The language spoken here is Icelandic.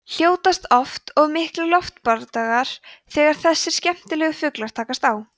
hljótast oft af miklir loftbardagar þegar þessir skemmtilegu fuglar takast á